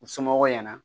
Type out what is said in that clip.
U somɔgɔw ɲɛna